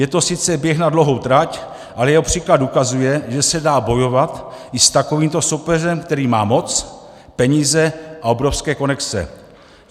Je to sice běh na dlouhou trať, ale jeho příklad ukazuje, že se dá bojovat i s takovýmto soupeřem, který má moc, peníze a obrovské konexe.